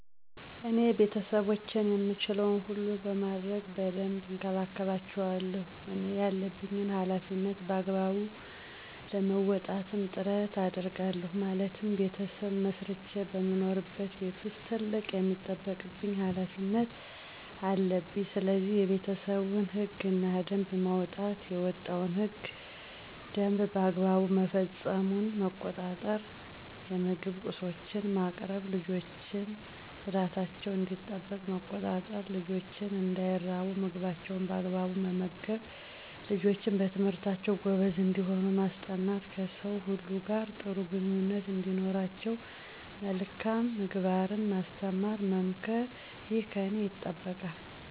እኔ ቤተሰቦቼን የምችለዉን ሁሉ በማድረግ በደንብ እንከባከባቸዋለሁ እኔ ያለብኝን ሀላፊነት በአግባቡ ለመወጣትም ጥረት አደርጋለሁ ማለትም "ቤተሰብ መስርቼ በምኖርበት ቤት ዉስጥ ትልቅ የሚጠበቅብኝ ሀላፊነት" አለብኝስለዚህ፦ የቤተሰቡን ህግ እና ደንብ ማዉጣት፣ የወጣዉ ህግ እና ደንብ በአግባቡ መፈፀሙን መቆጣጠር፣ የምግብ ቁሶችን ማቅረብ፣ ልጆችን ፅዳታቸዉ እንዲጠበቅ መቆጣጠር፣ ልጆች እንዳይራቡ ምግባቸዉን በአግባቡ መመገብ፣ ልጆች በትምህርታቸዉ ጎበዝ እንዲሆኑ ማስጠናት፣ ከሰዉ ሁሉ ጋር ጥሩ ግንኙነት እንዲኖራቸዉ መልካም ምግባርን ማስተማር መምከር ይህ ከኔ ይጠበቃል።